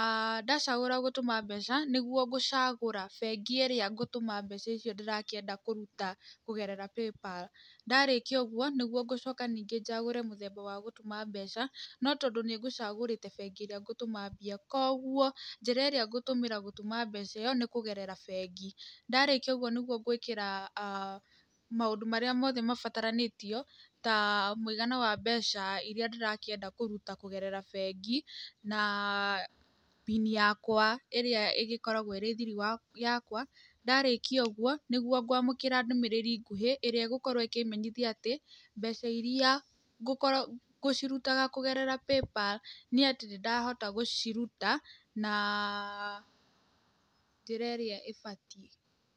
aah ndacagũra gũtũma mbeca, nĩguo ngũcagũra bengi ĩrĩa ngũtũma mbeca icio ndĩrakĩenda kũruta kũgerera PayPal, ndarĩkia ũguo, nĩguo ngũcoka ningĩ njagũre mũthemba wa gũtũma mbeca, no tondũ nĩ ngũcagũrĩte bengi ĩrĩa ngũtũma mbia koguo, njĩra ĩrĩa ngũtũmĩra gũtũma mbeca ĩyo nĩ kũgerera bengi, ndarĩkia ũguo nĩguo ngwĩkĩra aah maũndũ marĩa mothe mabataranĩtio, ta mũigana wa mbeca iria ndĩrakĩenda kũruta kũgerera bengi, na pini yakwa ĩria ĩgĩkoragwo ĩrĩ thiri wa yakwa, ndarĩkia ũguo, nĩguo gwamũkĩra ndũmĩrĩri ngũhĩ, ĩrĩa ĩgũkorwo ĩkĩmenyithia atĩ, mbeca iria ngũkora ngũciruta kũgerera PayPal nĩ atĩ nĩndahota gũciruta, na, njĩra ĩrĩa ĩbatiĩ.